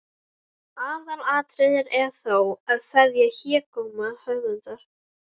Aðalatriðið er þó að seðja hégóma höfundar.